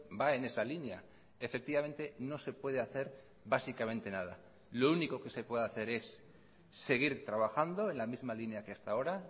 va en esa línea efectivamente no se puede hacer básicamente nada lo único que se puede hacer es seguir trabajando en la misma línea que hasta ahora